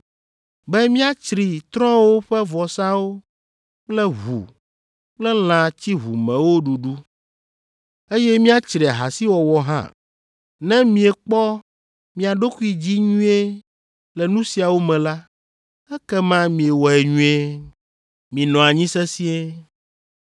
be miatsri trɔ̃wo ƒe vɔsawo kple ʋu kple lã tsiʋumewo ɖuɖu, eye miatsri ahasiwɔwɔ hã. Ne miekpɔ mia ɖokui dzi nyuie le nu siawo me la, ekema miewɔe nyuie. Minɔ anyi sesĩe.